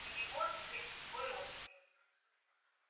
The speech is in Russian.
у него сын твой родственник